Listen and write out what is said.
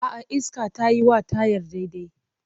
A'a, iskar tayi wa tayar daidai.